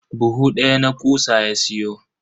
Buhu daya na kutsa ya siyo.